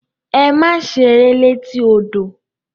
Ẹ̀mà sẹ̀rẹ̀ lẹ̀tí ọdọ!